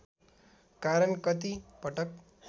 कारण कति पटक